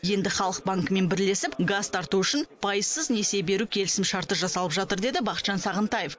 енді халық банкімен бірлесіп газ тарту үшін пайызсыз несие беру келісім шарты жасалып жатыр деді бақытжан сағынтаев